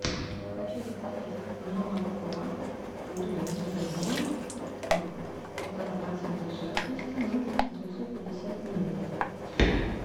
хочу заказать молоко домик в деревне полтора процента жирности ноль девятьсот пятьдесят миллилитров